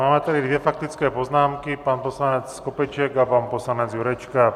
Máme tady dvě faktické poznámky - pan poslanec Skopeček a pan poslanec Jurečka.